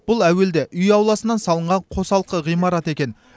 бұл әуелде үй ауласынан салынған қосалқы ғимарат екен